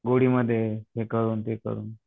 गोड़ी मध्ये हे करून ते करून.